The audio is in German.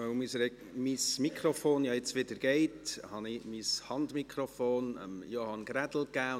Da mein Mikrofon ja jetzt wieder funktioniert, habe ich das vorhin von mir verwendete Handmikrofon Johann Ulrich Grädel gegeben.